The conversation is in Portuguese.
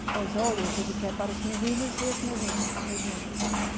Depois, olha, a gente quer para os meninos e as menina, meninos, né?